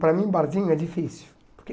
Para mim, barzinho é difícil.